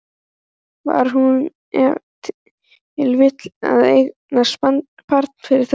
Var hún ef til vill að eignast barn fyrir þau?